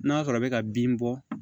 N'a sɔrɔ bɛ ka bin bɔ